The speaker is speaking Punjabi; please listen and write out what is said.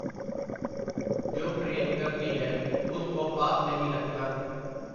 ਜੋ ਪ੍ਰੇਮ ਕਰਤੀ ਹੈ, ਉਸ ਕੋ ਪਾਪ ਨਹੀਂ ਲਗਤਾ ?”.